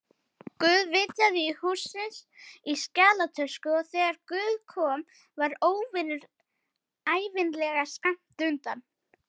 Guð vitjaði hússins í skjalatösku, og þegar guð kom var óvinurinn ævinlega skammt undan.